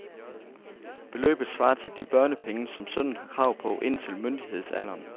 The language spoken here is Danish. Beløbet svarer til de børnepenge, som sønnen har krav på indtil myndighedsalderen.